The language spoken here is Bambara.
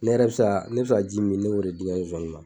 Ne yɛrɛ bi se ka, ne bi se ka ji min min ne yer'o d'i n ka zonzaninw ma .